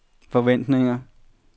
forventninger